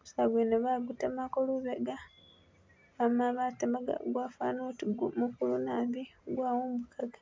gusaala gwene bagutemako lubega, amala batemagamu gwafwana oti mukulu nabi gwawumbukaga